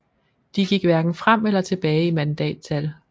De gik hverken frem eller tilbage i mandattal